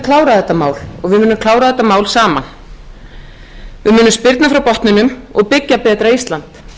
klára þetta mál og við munum klára þetta mál saman við munum spyrna frá botninum og byggja betra ísland